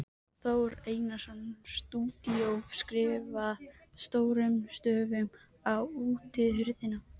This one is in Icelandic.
Þór Einarsson, stúdíó, skrifað stórum stöfum á útihurðina.